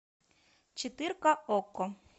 четырка окко